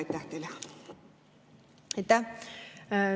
Aitäh!